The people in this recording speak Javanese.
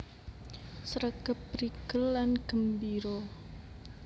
Sregep prigel lan gembira